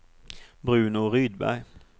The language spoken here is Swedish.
Bruno Rydberg